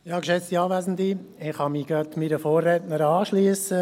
Ich kann mich meiner Vorrednerin anschliessen.